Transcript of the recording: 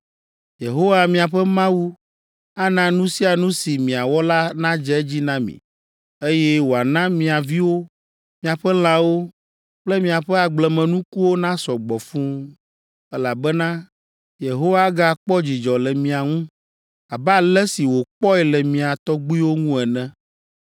Yehowa miaƒe Mawu ana nu sia nu si miawɔ la nadze edzi na mi, eye wòana mia viwo, miaƒe lãwo kple miaƒe agblemenukuwo nasɔ gbɔ fũu, elabena Yehowa agakpɔ dzidzɔ le mia ŋu, abe ale si wòkpɔe le mia tɔgbuiwo ŋu ene.